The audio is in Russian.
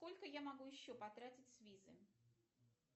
сколько я могу еще потратить с визы